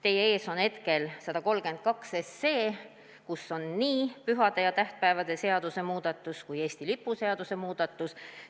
Teie ees on hetkel eelnõu 132, kus on nii pühade ja tähtpäevade seaduse muudatus kui ka Eesti lipu seaduse muudatus.